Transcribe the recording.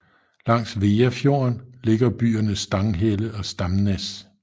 Langs Veafjorden ligger byerne Stanghelle og Stamnes